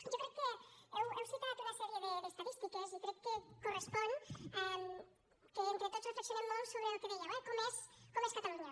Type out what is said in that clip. jo crec que heu citat una sèrie d’estadístiques i crec que correspon que entre tots reflexionem molt sobre el que dèieu eh com és catalunya